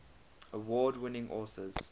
award winning authors